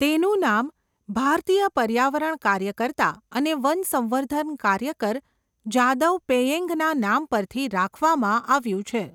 તેનું નામ ભારતીય પર્યાવરણ કાર્યકર્તા અને વનસંવર્ધન કાર્યકર જાદવ પેયેંગના નામ પરથી રાખવામાં આવ્યું છે.